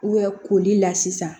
koli la sisan